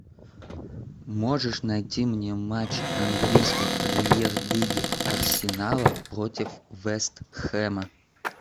можешь найти мне матч английской премьер лиги арсенала против вест хэма